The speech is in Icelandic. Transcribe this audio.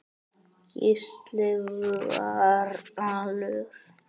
Gísli Valur.